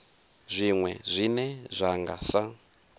zwiwe zwine zwa nga sa